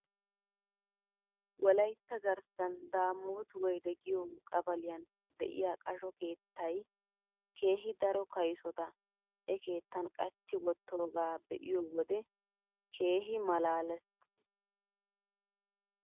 Wolaytta garssan daamoot woyde giyoo qabaliyan de'iyaa qasho keettay keehi daro kaysota he keettan qachchi wottoogaa be'iyoo wode keehi malaales